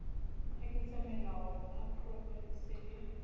a ketsamelao a diprofense le